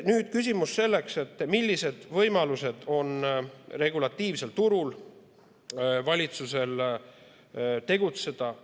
Nüüd küsimus, millised võimalused on valitsusel regulatiivsel turul tegutseda.